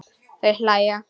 Þau hlæja.